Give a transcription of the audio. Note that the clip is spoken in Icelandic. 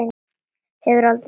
Hefur aldrei séð hann fyrr.